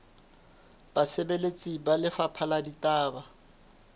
basebeletsi ba lefapha la ditaba